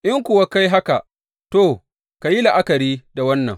In kuwa ka yi haka, to, ka yi la’akari da wannan.